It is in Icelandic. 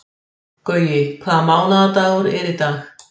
Gaui, hvaða mánaðardagur er í dag?